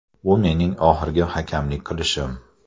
Bu mening oxirgi hakamlik qilishim.